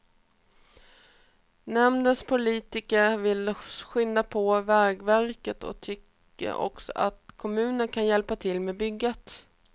Nämndens politiker vill skynda på vägverket och tycker också att kommunen kan hjälpa till med bygget.